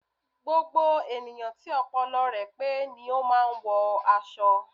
Gbogbo ènìyàn tí ọpọlọ rẹ pé ni o máà ń wọ aṣọ